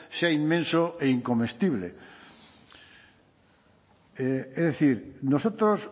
sea inmenso e incomestible es decir nosotros